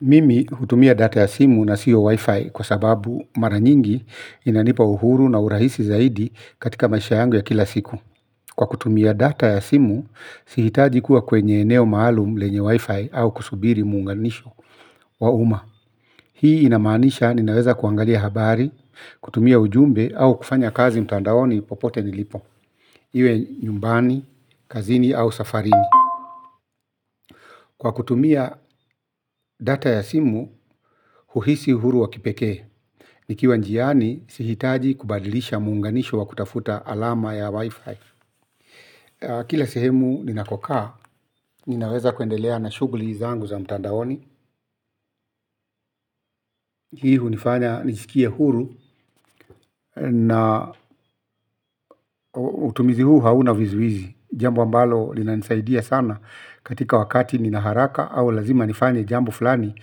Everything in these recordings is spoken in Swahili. Mimi hutumia data ya simu na sio wifi kwa sababu mara nyingi inanipa uhuru na urahisi zaidi katika maisha yangu ya kila siku. Kwa kutumia data ya simu, sihitaji kuwa kwenye eneo maalum lenye wifi au kusubiri muunganisho wa umma. Hii inamaanisha ninaweza kuangalia habari, kutumia ujumbe au kufanya kazi mtandaoni popote nilipo. Iwe nyumbani, kazini au safarini. Kwa kutumia data ya simu, huhisi uhuru wa kipekee. Nikiwa njiani, sihitaji kubadilisha muunganisho wa kutafuta alama ya wifi. Kila sehemu ninakokaa, ninaweza kuendelea na shughuli zangu za mtandaoni. Hii hunifanya, nijisikie huru na utumizi huu hauna vizuizi. Jambo ambalo linanisaidia sana katika wakati nina haraka au lazima nifanye jambo fulani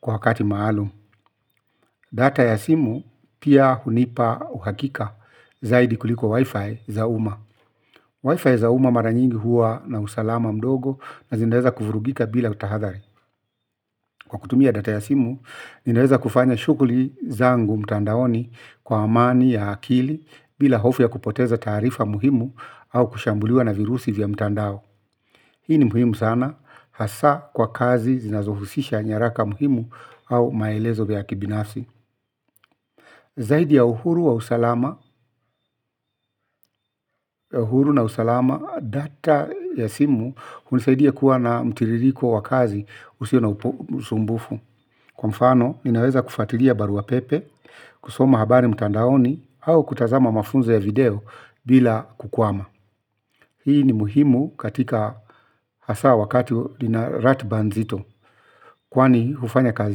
kwa wakati maalum. Data ya simu pia hunipa uhakika zaidi kuliko wifi za umma. Wi-Fi za umma mara nyingi huwa na usalama mdogo na zinaweza kuvurugika bila utahadhari. Kwa kutumia data ya simu, ninaweza kufanya shughuli zangu mtandaoni kwa amani ya akili bila hofu ya kupoteza taarifa muhimu au kushambuliwa na virusi vya mtandao. Hii ni muhimu sana hasa kwa kazi zinazohusisha nyaraka muhimu au maelezo ya kibinafsi. Zaidi ya uhuru wa usalama na usalama data ya simu hunisaidia kuwa na mtiririko wa kazi usio na usumbufu. Kwa mfano ninaweza kufuatilia barua pepe, kusoma habari mtandaoni au kutazama mafunzo ya video bila kukwama. Hii ni muhimu katika hasa wakati nina ratiba nzito. Kwani hufanya kazi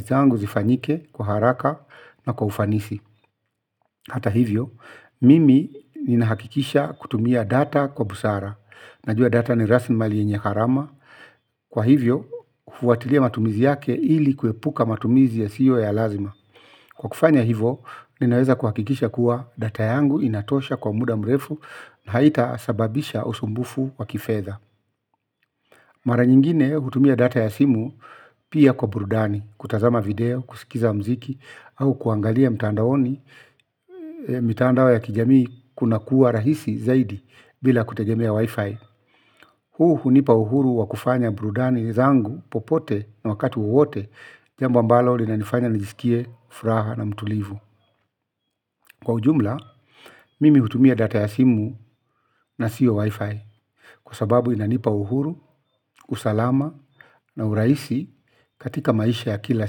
zangu zifanyike kwa haraka na kwa ufanisi. Hata hivyo, mimi ninahakikisha kutumia data kwa busara. Najua data ni rasimali yenye gharama. Kwa hivyo, hufuatilia matumizi yake ili kuepuka matumizi yasiyo ya lazima. Kwa kufanya hivo, ninaweza kuhakikisha kuwa data yangu inatosha kwa muda mrefu na haitasababisha usumbufu wa kifedha. Mara nyingine kutumia data ya simu pia kwa burudani, kutazama video, kusikiza muziki, au kuangalia mtandaoni, mitandao ya kijamii kuna kuwa rahisi zaidi bila kutegemea wi-fi. Huu hunipa uhuru wa kufanya burudani zangu, popote na wakati wowote, jambo ambalo linanifanya nijisikie, furaha na mtulivu. Kwa ujumla, mimi hutumia data ya simu, na sio WiFi. Kwa sababu inanipa uhuru, usalama na urahisi katika maisha ya kila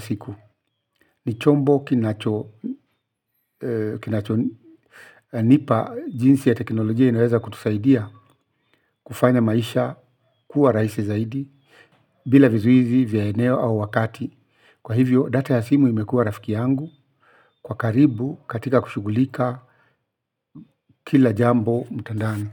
siku. Ni chombo kinacho nipa jinsi ya teknolojia inaweza kutusaidia kufanya maisha kuwa rahisi zaidi bila vizuizi vya eneo au wakati. Kwa hivyo data ya simu imekuwa rafiki yangu kwa karibu katika kushughulika kila jambo mtandaoni.